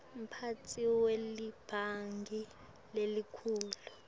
mphatsi welibhangi lelikhulu